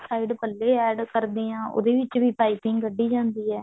side ਪੱਲੇ add ਕਰਦੇ ਆਂ ਉਹਦੇ ਵਿੱਚ ਵੀ ਪਾਈਪਿੰਨ ਕੱਢੀ ਜਾਂਦੀ ਹੈ